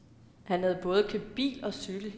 Han havde både købt bil og cykel.